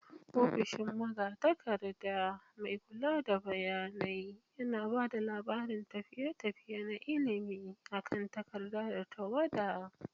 Ofishin magatakarda, mai kula da bayanai, yana ba da labarin tafiye-tafiye na ilimi akan takarda da tawada.